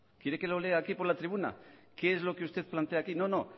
quiere que lo lea aquí por la tribuna qué es lo que usted plantea aquí no no